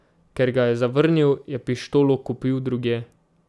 Ker ga je zavrnil, je pištolo kupil drugje.